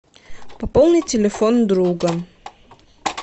пополни телефон друга